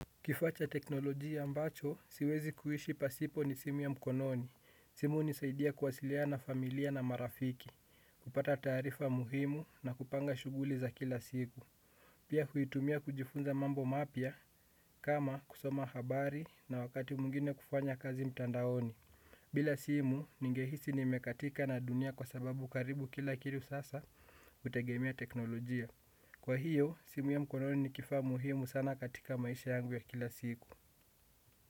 Kifaa cha teknolojia ambacho, siwezi kuishi pasipo ni simu ya mkononi. Simu hunisaidia kuwasiliana na familia na marafiki. Kupata tarifa muhimu na kupanga shuguli za kila siku. Pia huitumia kujifunza mambo mapya, kama kusoma habari na wakati mwingine kufanya kazi mtandaoni. Bila simu, ningehisi nimekatika na dunia kwa sababu karibu kila kitu sasa, hutegemea teknolojia. Kwa hiyo, simu ya mkononi ni kifaa muhimu sana katika maisha yangu ya kila siku.